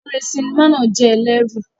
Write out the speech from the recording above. Eré sinimá náà jẹ́ ẹlẹ́rù.